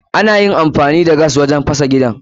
Anyi amfani da gas gurin fasa gidan